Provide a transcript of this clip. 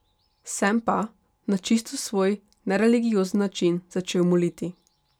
Sem pa, na čisto svoj, nereligiozni način, začel moliti.